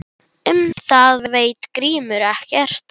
Um það veit Grímur ekkert.